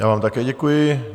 Já vám také děkuji.